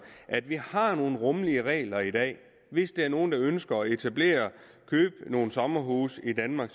at vi har nogle rummelige regler i dag hvis der er nogen der ønsker at købe nogle sommerhuse i danmark